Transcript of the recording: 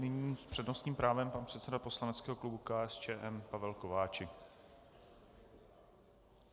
Nyní s přednostním právem pan předseda poslaneckého klubu KSČM Pavel Kováčik.